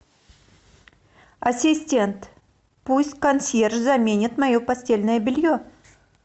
ассистент пусть консьерж заменит мое постельное белье